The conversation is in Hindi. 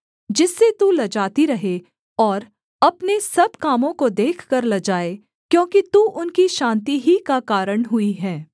जिससे तू लजाती रहे और अपने सब कामों को देखकर लजाए क्योंकि तू उनकी शान्ति ही का कारण हुई है